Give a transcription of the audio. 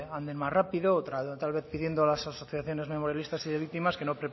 anden más rápido tal vez pidiendo a las asociaciones memorialistas y de víctimas que no